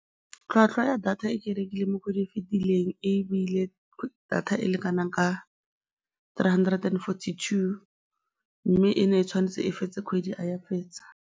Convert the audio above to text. Tlhwatlhwa ya data e ke rekileng mo kgweding e e fitileng ebile data e leng kana ka three hundred and forty-two mme e ne e tshwanetse e fetse kgwedi, ga e a e fetsa.